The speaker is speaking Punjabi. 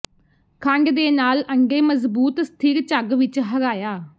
ਖੰਡ ਦੇ ਨਾਲ ਅੰਡੇ ਮਜ਼ਬੂਤ ਸਥਿਰ ਝੱਗ ਵਿੱਚ ਹਰਾਇਆ